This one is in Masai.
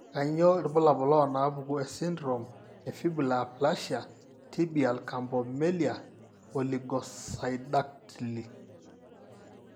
Kainyio irbulabul onaapuku esindirom eFibular aplasia, tibial campomelia, o oligosyndactyly?